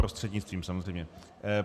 Prostřednictvím samozřejmě.